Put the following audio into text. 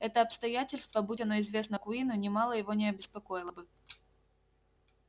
это обстоятельство будь оно известно куинну нимало его не обеспокоило бы